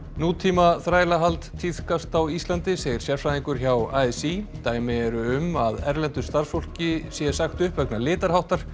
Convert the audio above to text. nútíma þrælahald tíðkast á Íslandi segir sérfræðingur hjá a s í dæmi eru um að erlendu starfsfólki sé sagt upp vegna litarháttar